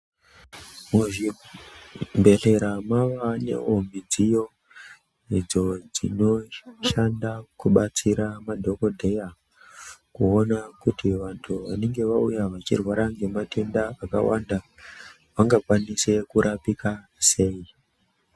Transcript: Muzvibhedhela mwava nemidziyo idzo dzinoshanda kubatsira madhokodheya kuona kuti vantu vanenge vauya vechirwara nematenda akawanda vangakwanise kurapika sei.